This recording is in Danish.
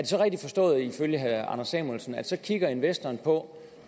så rigtigt forstået ifølge herre anders samuelsen at så kigger investoren på